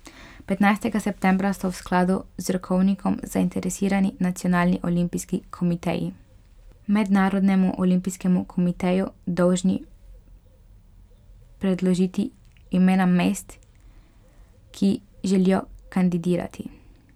Petnajstega septembra so v skladu z rokovnikom zainteresirani nacionalni olimpijski komiteji Mednarodnemu olimpijskemu komiteju dolžni predložiti imena mest, ki želijo kandidirati.